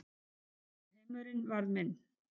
Heimurinn varð minn.